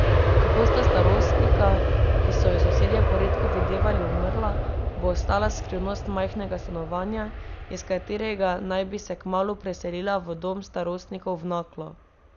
Kako sta starostnika, ki so ju sosedje poredko videvali, umrla, bo ostala skrivnost majhnega stanovanja, iz katerega naj bi se kmalu preselila v dom starostnikov v Naklo.